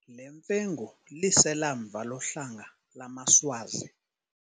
Le mfengu liselamva lohlanga lamaSwazi.